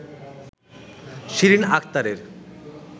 শিরিন আক্তারের